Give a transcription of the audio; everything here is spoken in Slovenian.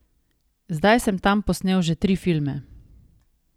Zdaj sem tam posnel že tri filme.